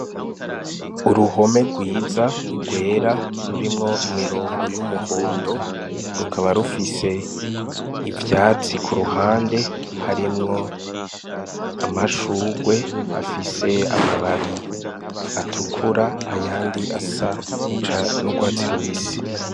Uruhome rwiza rwera rurimwo imirongo y'umuhondo, rukaba rufise ivyatsi ku ruhande, harimwo amashugwe afise amababi atukura, ayandi asa n'urwatsi rubisi.